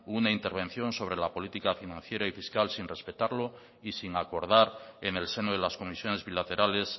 una intervención sobre la política financiera y fiscal sin respetarlo y sin acordar en el seno de las comisiones bilaterales